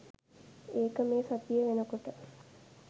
ඒක මේ සතිය වෙනකොට.